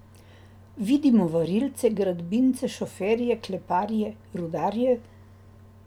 Vidimo varilce, gradbince, šoferje, kleparje, rudarje ...